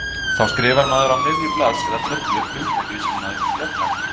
Þá skrifar maður á miðju blaðs eða töflu hugtakið sem maður vill fjalla um.